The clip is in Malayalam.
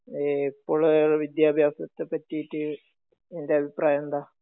ഇപ്പൊള്ള വിദ്യാഭ്യാസത്തെ പറ്റീട്ട് നിന്റെ അഭിപ്രായം എന്താ?